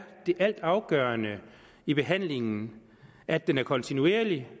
det altafgørende i behandlingen at den er kontinuerlig